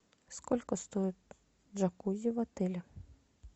сколько стоит джакузи в отеле